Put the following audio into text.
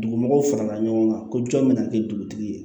Dugu mɔgɔw farala ɲɔgɔn kan ko jɔn bɛna kɛ dugutigi ye